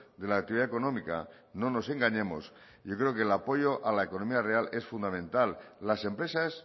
de la actividad económica no nos engañemos yo creo que el apoyo a la economía real es fundamental las empresas